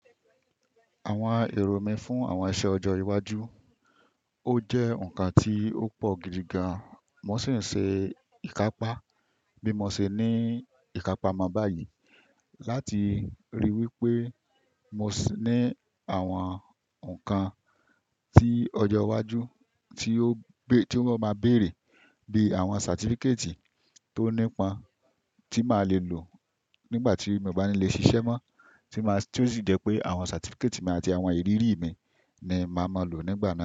Àwọn èrò mí fún àwọn iṣẹ́ ọjọ́ iwájú, ó jẹ́ ǹkan tí ó pọ̀ gidi gan, mo sì ń ṣe ìkápá bí mo ṣe ní ìkápá mábàáyì láti ríi wí pé mo sì ní àwọn ǹkan tí ọjọ́ iwájú tí ó máa bẹ̀rẹ̀ bí àwọn certificate tó nípa tí màá le lò nígbà tí mo bá ní le ṣiṣẹ́ mọ́ tí ó sì jẹ́ pé àwọn certificate mi àti àwọn ìrírí mi ni màá máa lò nígbà náà.